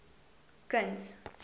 kuns